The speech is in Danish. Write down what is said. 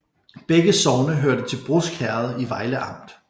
Begge sogne hørte til Brusk Herred i Vejle Amt